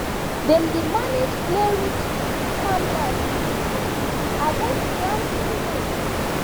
dem dey manage clayrich farmland with ashes to avoid planting late